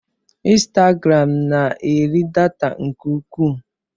Insitagaram n'eri data nke ukwuu.